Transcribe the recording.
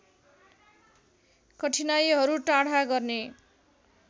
कठिनाइहरू टाढा गर्ने